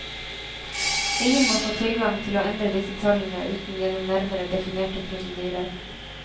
Ingen må få tilgang til å endre disse tallene uten gjennom nærmere definerte prosedyrer.